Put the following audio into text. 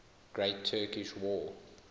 great turkish war